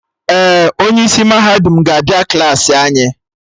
Ee, onye isi mahadum ga-abịa Klassị anyị